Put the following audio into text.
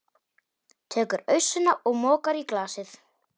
Tekur ausuna og mokar í glasið.